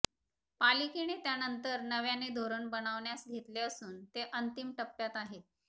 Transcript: पालिकेने त्यानंतर नव्याने धोरण बनवण्यास घेतले असून ते अंतिम टप्प्यात आहे